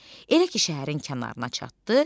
Elə ki, şəhərin kənarına çatdı.